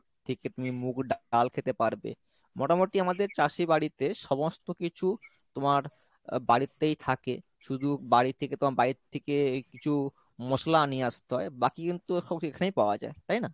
থেকে তুমি মুগ ডাল খেতে পারবে মোটামুটি আমাদের চাষী বাড়িতে সমস্ত কিছু তোমার আহ বাড়িতেই থাকে শুধু বাড়ি থেকে বাইর থেকে এই কিছু মশলা নিয়ে আসতে হয় বাকি কিন্তু সব এখানেই পাওয়া যায় তাই না?